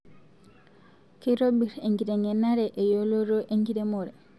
Keitobir enkitengenare eyoloto enkiremore